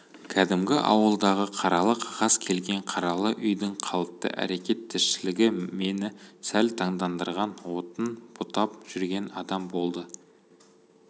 кәдімгі ауылдағы қаралы қағаз келген қаралы үйдің қалыпты әрекет-тіршілігі мені сәл таңдандырған отын бұтап жүрген адам болды